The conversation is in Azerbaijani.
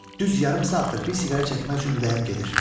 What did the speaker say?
Düz yarım saatdır bir siqaret çəkmək üçün ürəyim gedir.